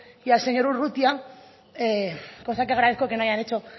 y al señor urrutia cosa que agradezco que no hayan hecho